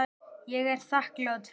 Ég er þakklát fyrir allt.